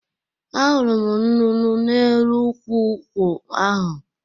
Ahụrụ m nnụnụ n’elu ukwụ nkwụ ahụ.